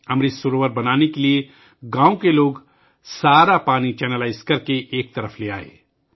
امرت سروور بنانے کے لئے گاؤں کے لوگ سارے پانی کو چینلائز کرکے ایک طرف لے آئے